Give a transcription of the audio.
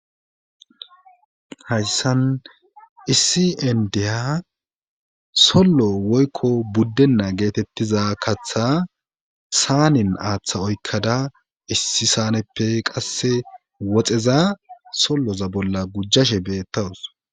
Hayssan issi endiha sollo woykko buddenna geetettiza katha saanin aaththa oykkada issi saaneppe qasse woxeza solloza bolla gujjashe beettawus.